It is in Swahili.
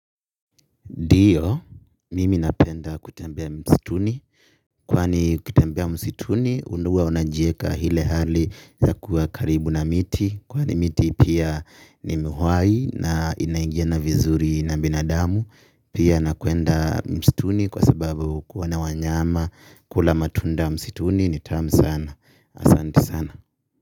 Ndio, mimi napenda kutembea msituni, kwani kutembea msituni, huwa unajieka ile hali ya kuwa karibu na miti, kwani miti pia ni uhai na inaingiana vizuri na binadamu, pia na kuenda msituni kwa sababu kuona wanyama, kula matunda msituni ni tamu sana, asanti sana.